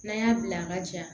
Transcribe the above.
N'an y'a bila a ka ja